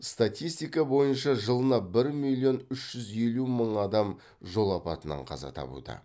статистика бойынша жылына бір миллион үш жүз елу мың адам жол апатынан қаза табуда